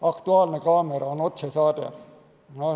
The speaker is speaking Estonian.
"Aktuaalne kaamera" on otsesaade.